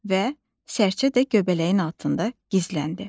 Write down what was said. Və sərçə də göbələyin altında gizləndi.